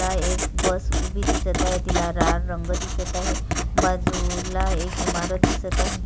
ता एक बस उभी दिसत आहे तिला लाल रंग दिसत आहे बाजूला एक इमारत दिसत आहे.